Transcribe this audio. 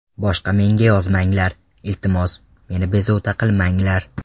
Boshga menga yozmanglar, iltimos, meni bezovta qilmanglar.